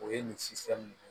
O ye nin sisani ye